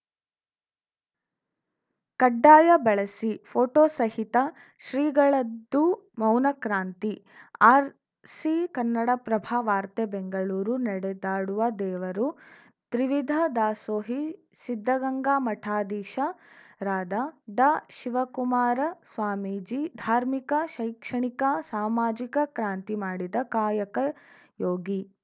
ಕಡ್ಡಾಯ ಬಳಸಿ ಫೋಟೋ ಸಹಿತ ಶ್ರೀಗಳದ್ದು ಮೌನಕ್ರಾಂತಿ ಆರ್‌ಸಿ ಕನ್ನಡಪ್ರಭ ವಾರ್ತೆ ಬೆಂಗಳೂರು ನಡೆದಾಡುವ ದೇವರು ತ್ರಿವಿಧ ದಾಸೋಹಿ ಸಿದ್ಧಗಂಗಾ ಮಠಾಧೀಶರಾದ ಡಾಶಿವಕುಮಾರ ಸ್ವಾಮೀಜಿ ಧಾರ್ಮಿಕ ಶೈಕ್ಷಣಿಕ ಸಾಮಾಜಿಕ ಕ್ರಾಂತಿ ಮಾಡಿದ ಕಾಯಕಯೋಗಿ